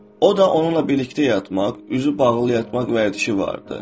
O da onunla birlikdə yatmaq, üzü bağlı yatmaq vərdişi var idi.